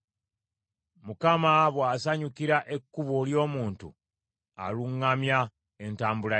Mukama bw’asanyukira ekkubo ly’omuntu, aluŋŋamya entambula ye.